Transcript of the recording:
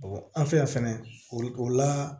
an fɛ yan fɛnɛ o la